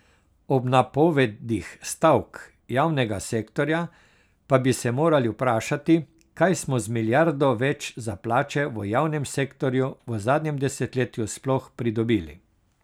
Ob napovedih stavk javnega sektorja pa bi se morali vprašati, kaj smo z milijardo več za plače v javnem sektorju v zadnjem desetletju sploh pridobili.